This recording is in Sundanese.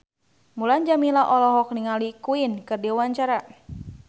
Mulan Jameela olohok ningali Queen keur diwawancara